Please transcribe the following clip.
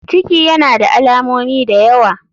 Ciki yana da alamomi dayawa.